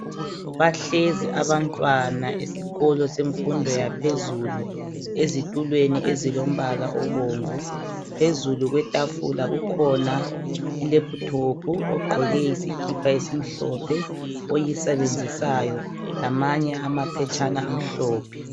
Bahlezi abantwana esikolo semfundo yaphezulu ezitulweni ezilombala obomvu, phezulu kwetafula kukhona ilephuthophu ogqoke isikipa esimhlophe oyisebenzisayo lamanye amaphetshana amhlophe.